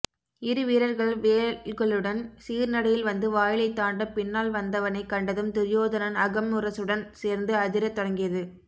இரு வீரர்கள் வேல்களுடன் சீர்நடையில் வந்து வாயிலைத் தாண்ட பின்னால் வந்தவனைக் கண்டதும் துரியோதனன் அகம் முரசுடன் சேர்ந்து அதிரத்தொடங்கியது